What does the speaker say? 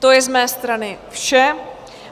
To je z mé strany vše.